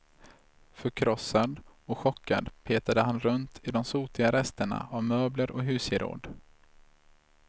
Förkrossad och chockad petade han runt i de sotiga resterna av möbler och husgeråd.